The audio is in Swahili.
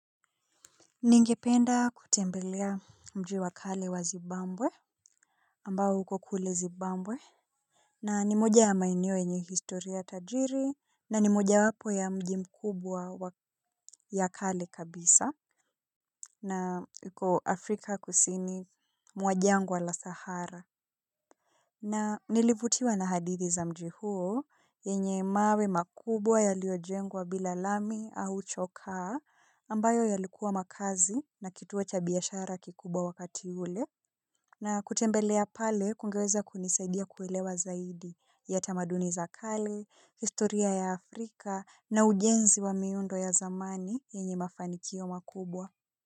Ningependa kutembelea mji wakale wa zibambwe ambao huko kule Zibambwe na ni moja ya maeneo enye historia tajiri na ni moja wapo ya mji mkubwa ya kale kabisa na huko Afrika kusini mwa jangwa la Sahara. Na nilivutiwa na hadithi za mji huo, yenye mawe makubwa yaliojengwa bila lami au chokaa, ambayo yalikuwa makazi na kituo cha biashara kikubwa wakati ule, na kutembelea pale kungeweza kunisaidia kuelewa zaidi ya tamaduni zakali, historia ya Afrika na ujenzi wa miundo ya zamani yenye mafanikio makubwa.